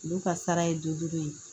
Olu ka sara ye dudulu ye